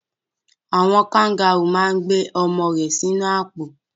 Àwon kangaru ma n gbé ọmọ rẹ sínú àpò